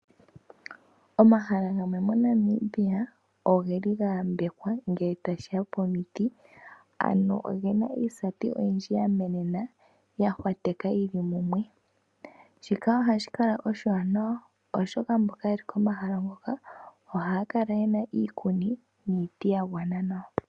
Omahala gamwe moNamibia ogeli ga yambekwa ngele tashiya pomiti, ano ogena iisati oyindji ya mena, ya hwateka yili mumwe. Shika ohashi kala oshiwanawa, oshoka mboka yeli komahala ngoka ohaya kala yena iikuni niiti ya gwana nawa.